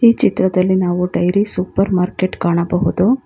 ಈ ಚಿತ್ರದಲ್ಲಿ ನಾವು ಡೈರಿ ಸೂಪರ್ ಮಾರ್ಕೆಟ್ ಕಾಣಬಹುದು.